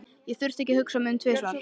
Ég þurfti ekki að hugsa mig um tvisvar.